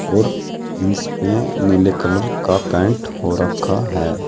और इसमें नीले कलर का पेंट हो रखा है।